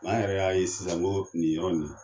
An yɛrɛ y'a ye sisan n ko nin yɔrɔ in na.